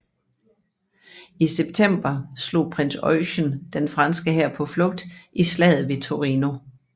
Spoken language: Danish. I september slog prins Eugen den franske hær på flugt i slaget ved Torino